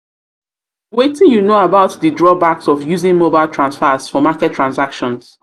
wetin you know about di drawbacks of using mobile of using mobile transfers for market transactions?